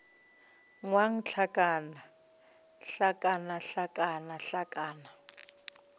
ngwang hlakana hlakana hlakana hlakana